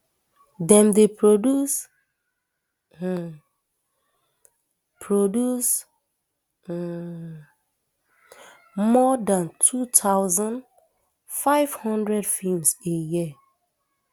dem dey produce um produce um more dan two thousand, five hundred feems a year